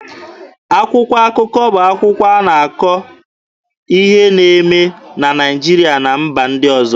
Akwụkwọ akụkọ bụ akwụkwọ na-akọ ihe na-eme na Naịjirịa na mba ndị ọzọ.